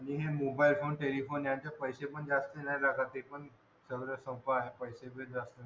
आणि हे mobile phone telephone याचे पैसे पण जास्त नाय लागत ते पण सगळं सोपं आहे